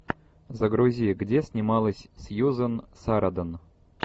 загрузи где снималась сьюзан сарандон